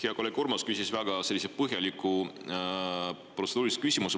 Hea kolleeg Urmas küsis väga põhjaliku protseduurilise küsimuse.